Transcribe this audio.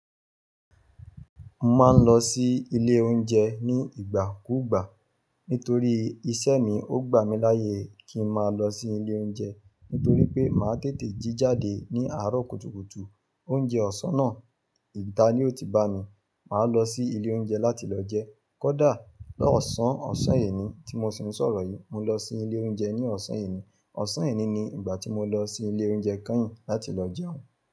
Mo máa ń lọ sí ilé oúnjẹ ní ìgbà kúùgbà. Nítorí iṣẹ́ mi, ó gbà mí láyè kí ń máa lọ sí ilé oúnjẹ. Nítorí pé màá tètè jí jáde ní àárọ̀ kùtùkùtù. Oúnjẹ ọ̀sán náà, ìta ni ó ti bá mi. Màá lọ sí ilé oúnjẹ láti lọ jẹ. Kódà lọ́sàn-án ọ̀sán ẹni tí mo sì ń sọ̀rọ̀ yìí, mo lọ sí ilé oúnjẹ ní ọ̀sán eni. Ọ̀sán yìí ni ìgbà tí mo lọ sí ilé oúnjẹ kányìn láti lọ jẹun.